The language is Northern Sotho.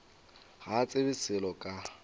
ga a tsebe selo ka